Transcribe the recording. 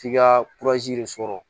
F'i ka de sɔrɔ